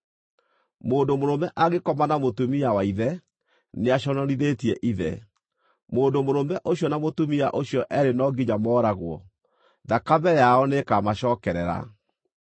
“ ‘Mũndũ mũrũme angĩkoma na mũtumia wa ithe, nĩaconorithĩtie ithe. Mũndũ mũrũme ũcio na mũtumia ũcio eerĩ no nginya mooragwo; thakame yao nĩĩkamacookerera.